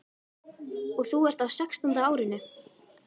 Og þú ert á sextánda árinu.